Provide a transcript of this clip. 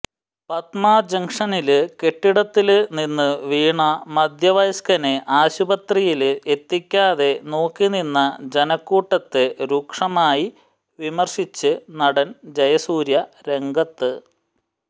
പത്മ ജംഗ്ഷനില് കെട്ടിടത്തില് നിന്ന് വീണ മധ്യവയസ്കനെ ആശുപത്രിയില് എത്തിക്കാതെ നോക്കിനിന്ന ജനക്കൂട്ടത്തെ രൂക്ഷമായി വിമര്ശിച്ച് നടന് ജയസൂര്യ രംഗത്ത്